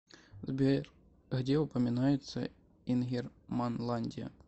сбер где упоминается ингерманландия